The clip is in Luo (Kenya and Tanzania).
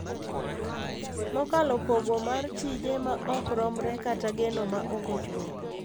Mokalo pogo mar tije ma ok romre kata geno ma ok ochopo.